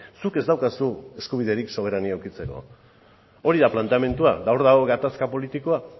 zuk ez daukazu eskubiderik soberania edukitzeko hori da planteamendua eta hor dago gatazka politikoa